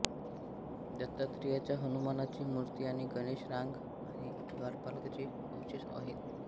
दत्तात्रेयाची हनुमानाची मूर्ती आणि गणेश रांग आणि द्वारपालाचे अवशेष आहेत